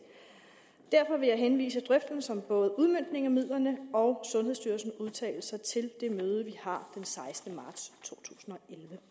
derfor vil jeg henvise drøftelsen af både udmøntningen af midlerne og sundhedsstyrelsens udtalelser til det møde vi har den sekstende marts totusinde